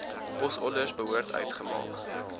posorders behoort uitgemaak